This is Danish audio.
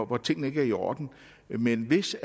hvor tingene ikke er i orden men hvis